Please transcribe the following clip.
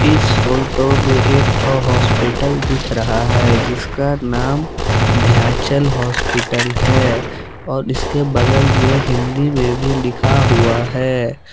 इस फोटो में एक ठो हॉस्पिटल दिख रहा है जिसका नाम ध्यांचल हॉस्पिटल है और इसके बगल में हिंदी में भी लिखा हुआ है।